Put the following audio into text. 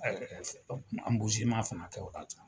Ɛɛ fana kɛ o wagati.